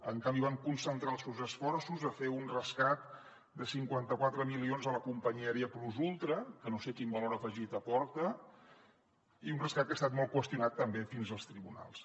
en canvi van concentrar els seus esforços a fer un rescat de cinquanta quatre milions a la companyia aèria plus ultra que no sé quin valor afegit aporta i un rescat que ha estat molt qüestionat també fins als tribunals